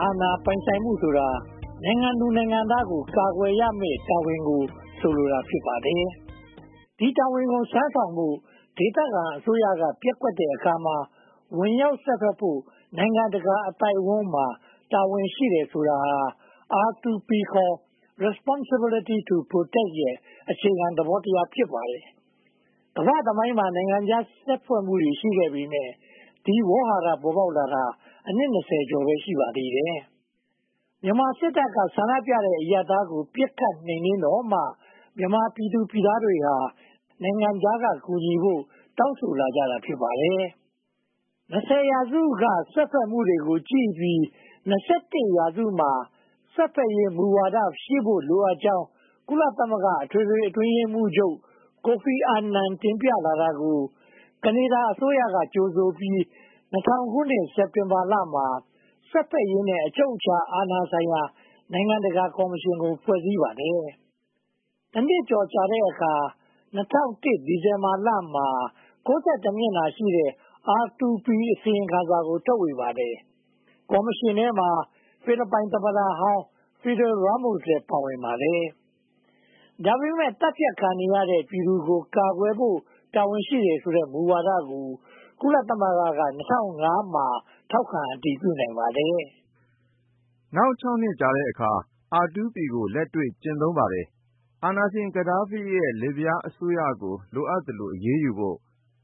အာဏာပိုင်ဆိုင်မှုဆိုတာ နိုင်ငံသူနိုင်ငံသားများကို ကာကွယ်ရမယ့်တာဝန်ကို ဆိုလိုတာ ဖြစ်ပါတယ်။ ဒီတာဝန်ကို ထမ်းဆောင်ဖို့ ဒေသခံအစိုးရက ပျက်ကွက်တဲ့အခါမှာ ဝင်ရောက်စွက်ဖက်ဖို့ နိုင်ငံတကာအသိုင်းအဝန်းမှာ တာဝန်ရှိတယ်ဆိုတာဟာ R2P – Responsibility to Protect ရဲ့ အခြေခံသဘောတရား ဖြစ်ပါတယ်။ ကမ္ဘာ့သမိုင်းမှာ နိုင်ငံခြားစွက်ဖက်မှုတွေ ရှိခဲ့ပေမယ့် ဒီဝေါဟာရ ပေါ်ပေါက်လာတာ အနှစ် ကျော်ပဲ ရှိပါသေးတယ်။ မြန်မာစစ်တပ်က ဆန္ဒပြတဲ့ အရပ်သားတွေကို ပစ်ခတ်နှိမ်နင်းတော့မှ မြန်မာပြည်သူပြည်သားတွေက နိုင်ငံခြားက ကူညီဖို့ တောင်းဆိုလာကြတာ ဖြစ်ပါတယ်။ ရာစုအတွင်း စွက်ဖက်မှုတွေကိုကြည့်ပြီး ရာစုမှာ စွက်ဖက်ရေး မူဝါဒရှိဖို့လိုကြောင်း ကုလသမဂ္ဂ အတွင်းရေးမှူး ကိုဖီအာနန် တင်ပြတာကို ကနေဒါအစိုးရက ကြိုဆိုပြီး ၂၀၀၀ ခုနှစ် စက်တင်ဘာလမှာ စွက်ဖက်ရေးနဲ့ အချုပ်အခြာအာဏာဆိုင်ရာ နိုင်ငံတကာကော်မရှင်ကို ဖွဲ့စည်းပါတယ်။ တနှစ်ကျော်ကြာတဲ့အခါ ၂၀၀၁ ဒီဇင်ဘာလမှာ မျက်နှာရှိတဲ့ R2P အစီရင်ခံစာ ထုတ်ဝေပါတယ်။ ကော်မရှင်ထဲမှာ ဖိလစ်ပိုင်သမ္မတဟောင်း Fidel Ramos လည်း ပါဝင်ပါတယ်။ ဒါပေမဲ့ သတ်ဖြတ်ခံနေရတဲ့ ပြည်သူကို ကာကွယ်ဖို့ တာဝန်ရှိတယ်ဆိုတဲ့ မူဝဒါကို ကုလသမဂ္ဂက ၂၀၀၅ မှာ ထောက်ခံအတည်ပြုနိုင်ပါတယ်။ နောက် နှစ်အကြာမှာ R2P ကို လက်တွေ့ကျင့်သုံးပါတယ်။ အာဏာရှင် ဂါဒါဖီရဲ့ လစ်ဗျားအစိုးရကို လိုအပ်သလို အရေးယူဖို့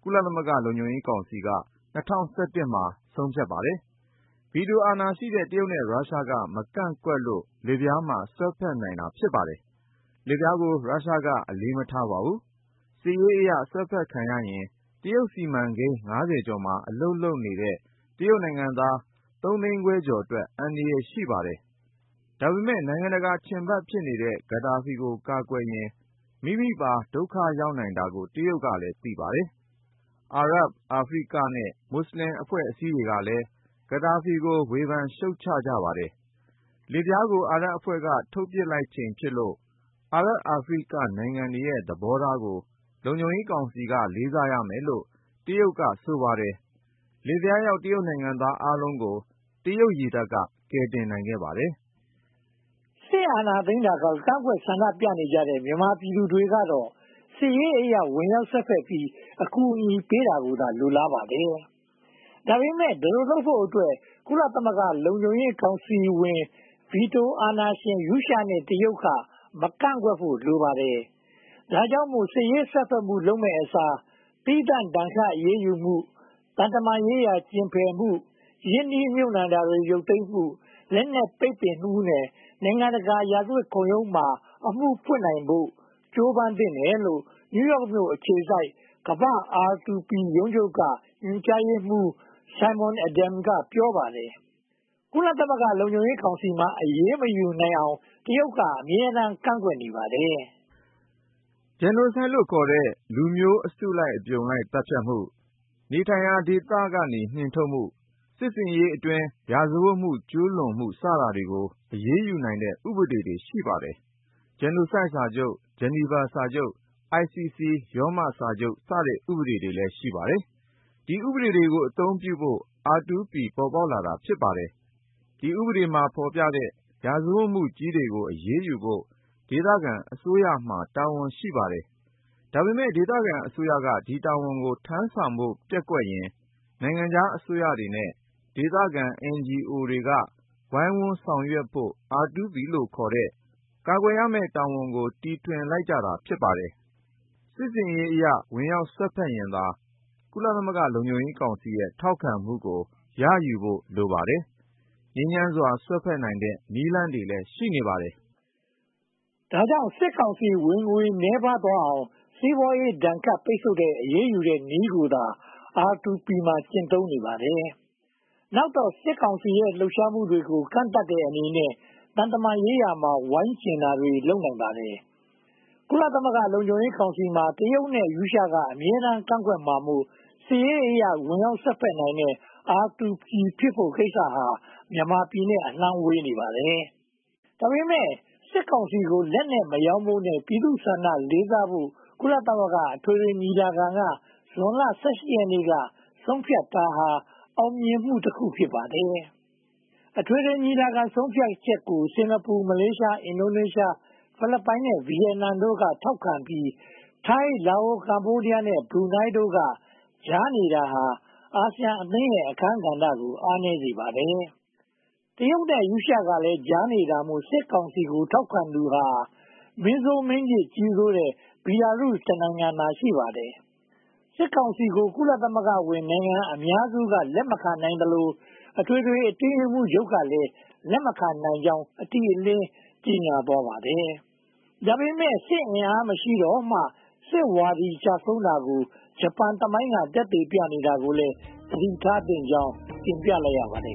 ကုလသမဂ္ဂ လုံခြုံရေးကောင်စီက ၂၀၁၁ မှာ ဆုံးဖြတ်ပါတယ်။ ဗီတိုအာဏာရှိတဲ့ တရုတ်နဲ့ရုရှားက မကန့်ကွက်လို့ လစ်ဗျားမှာ စွက်ဖက်နိုင်တာ ဖြစ်ပါတယ်။ လစ်ဗျားကို ရုရှားက အလေးမထားပါဘူး။ စစ်ရေးအရ စွက်ဖက်ခံရရင် တရုတ်စီမံကိန်း ကျော်မှာ အလုပ်လုပ်နေတဲ့ တရုတ်နိုင်ငံသား အတွက် အန္တရာယ်ရှိပါတယ်။ ဒါပေမဲ့ နိုင်ငံတကာ ချဉ်ဖတ်ဖြစ်နေတဲ့ ဂါဒါဖီကို ကာကွယ်ရင် မိမိပါ ဒုက္ခရောက်နိုင်တာကို တရုတ်က သိပါတယ်။ အာရပ်၊ အာဖရိကနဲ့ မွတ်စလင်အဖွဲ့အစည်းတွေကလည်း ဂါဒါဖီကို ရှုတ်ချပါတယ်။ လစ်ဗျားကို အာရပ်အဖွဲ့က ထုတ်ပစ်လိုက်ချိန်ဖြစ်လို့ အာရပ်အာဖရိကနိုင်ငံတွေရဲ့ သဘောထားကို လုံခြုံရေးကောင်စီ လေးစားရမယ်လို့ တရုတ်ကဆိုပါတယ်။ လစ်ဗျားရောက် တရုတ်နိုင်ငံသားအားလုံးကို တရုတ်ရေတပ်က ကယ်တင်နိုင်ပါတယ်။ စစ်အာဏာသိမ်းတာကို ကန့်ကွက်ဆန္ဒပြနေကြတဲ့ မြန်မာပြည်သူတွေကတော့ စစ်ရေးအရ ဝင်ရောက်စွက်ဖက်ပြီး အကူအညီပေးတာကိုသာ လိုလားပါတယ်။ ဒါပေမဲ့ ဒီလိုလုပ်ဖို့အတွက် ကုလသမဂ္ဂ လုံခြုံရေးကောင်စီဝင် ဗီတီအာဏာရှင် ရုရှားနဲ့ တရုတ်က မကန့်ကွက်ဖို့ လိုပါတယ်။ ဒါကြောင့်မို့ စစ်ရေးစွက်ဖက်မှုလုပ်မယ့်အစား၊ သီးသန့်ဒဏ်ခတ်အရေးယူမှု၊ သံတမန်ရေးရာ ကျဉ်ဖယ်မှု၊ ရင်းနှီးမြုပ်နံှတာတွေ ရုတ်သိမ်းမှု၊ လက်နက်ပိတ်ပင်မှုနဲ့ နိုင်ငံတကာရာဇဝတ်ခုံရုံးမှာ အမှုဖွင့်နိုင်ဖို့ ကြိုးပမ်းသင့်တယ်လို့ New York မြို့ အခြေစိုက် ကမ္ဘာ့ R2P ရုံးချုပ်က ညွှန်ကြားရေးမှူး Simon Adams က ပြောပါတယ်။ ကုလသမဂ္ဂ လုံခြုံရေးကောင်စီမှာ အရေးမယူနိုင်အောင် တရုတ်က အမြဲတမ်းကန့်ကွက်ပါတယ်။ Genocide လို့ခေါ်တဲ့ လူမျိုးအစုလိုက် အပြုံလိုက်သတ်ဖြတ်မှု နေထိုင်ရာဒေသမှ နှင်ထုတ်မှု စစ်ဆင်ရေးအတွင်း ရာဇဝတ်မှု ကျူးလွန်မှု စတာတွေကို အရေးယူနိုင်တဲ့ ဥပဒေတွေ ရှိပါတယ်။ Genocide စာချုပ်၊ Geneva စာချုပ်၊ ICC ရောမစာချုပ်စတဲ့ ဥပဒေတွေ ရှိပါတယ်။ ဒီဥပဒေတွေကို အသုံးပြုဖို့ R2P ပေါ်ပေါက်လာတာ ဖြစ်ပါတယ်။ ဒီဥပဒေတွေမှာ ဖော်ပြတဲ့ ရာဇဝတ်မှုကြီးတွေကို အရေးယူဖို့ ဒေသခံအစိုးရမှာ တာဝန်ရှိပါတယ်။ ဒါပေမဲ့ ဒေသခံအစိုးရက ဒီတာဝန်ကို ထမ်းဆောင်ဖို့ ပျက်ကွက်ရင် နိုင်ငံခြားအစိုးရတွေနဲ့ ဒေသခံ NGO တွေက ဝိုင်းဝန်းဆောင်ရွက်ဖို့ R2P လို့ခေါ်တဲ့ ကာကွယ်ရမယ့်တာဝန်ကို တီထွင်လိုက်တာ ဖြစ်ပါတယ်။ စစ်ရေးအရ ဝင်ရောက်စွက်ဖက်တတ်ရင်သာ ကုလသမဂ္ဂလုံခြုံရေးကောင်စီရဲ့ ထောက်ခံမှုကို ရယူဖို့လိုပါတယ်။ ငြိမ်းချမ်းစွာ စွက်ဖက်နိုင်တဲ့ နည်းလမ်းတွေလည်း ရှိပါတယ်။ ဒါကြောင့် စစ်ကောင်စီ ဝင်ငွေနည်းပါးသွားအောင် စီးပွားရေးဒဏ်ခတ် ပိတ်ဆို့အရေးယူတဲ့နည်းကိုသာ R2P မှာ ကျင့်သုံးပါတယ်။ နောက်တော့ စစ်ကောင်စီရဲ့ လှုပ်ရှားမှုကို ကန့်သတ်တဲ့အနေနဲ့ သံတမန်ရေးရာမှာ ဝိုင်းကြဉ်တန်တွေ လုပ်နိုင်ဖို့ လိုပါတယ်။ ကုလသမဂ္ဂလုံခြံရေးကောင်စီမှာ တရုတ်နဲ့ ရုရှားက အမြဲတမ်းကန့်ကွက်မှာမို့ စစ်ရေးအရ ဝင်ရောက်စွက်နိုင်တဲ့ R2P ဖြစ် ကိစ္စဟာ မြန်မာနဲ့ အလှမ်းဝေးနေပါတယ်။ ဒါပေမဲ့ စစ်ကောင်စီကို လက်နက်မရောင်းဖို့နဲ့ ပြည်သူ့ဆန္ဒကိုလေးစားဖို့ ကုလသမဂ္ဂအထွေထွေညီလာခံက ဇွန်လ ရက်နေ့က ဆုံးဖြတ်ထားတာဟ အောင်မြင်မှုတခု ဖြစ်ပါတယ်။ အထွေထွေညီလာခံ ဆုံးဖြတ်ချက်ကို စင်္ကာပူ၊ မလေးရှား၊ အင်ဒိုနီးရှား၊ ဖိလစ်ပိုင်နဲ့ ဗိယက်နမ်တို့က ထောက်ခံပြီး၊ ထိုင်း၊ လာအို၊ ကမ္ဘောဒီယားနဲ့ ဘရူးနိုင်းတို့က ကြားနေတာဟာ အာဆီယံအသင်းရဲ့ အခန်းကဏ္ဍကို အားနည်းစေပါတယ်။ တရုတ်နဲ့ ရုရှားကလည်း ကြားနေတာမို့ စစ်ကောင်စီကို ထောက်ခံသူဟာ မင်းဆိုးမင်းညစ် ကြီးစိုးတဲ့ Belarus နိုင်ငံ တနိုင်ငံသာ ရှိပါတယ်။ စစ်ကောင်စီကို ကုလသမဂ္ဂဝင်နိုင်ငံ အများစုက လက်မခံနိုင်သလို အထွေထွေအတွင်းရေးမှူးချုပ်ကလည်း လက်မခံနိုင်ကြောင်း အတိအလင်း ကြေညာသွားပါတယ်။ ဒါပေမဲ့ စစ်အင်အား မရှိတော့မှ စစ်ဝါဒီ ကျဆုံးတာကို ဂျပန်သမိုင်းက သက်သေပြနေတာကိုလည်း သတိထားသင့်ကြောင်း တင်ပြလိုက်ရပါတယ်